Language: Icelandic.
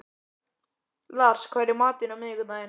Lars, hvað er í matinn á miðvikudaginn?